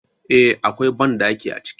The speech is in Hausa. Eh, Akwai banɗaki a ciki